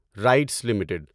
rights limited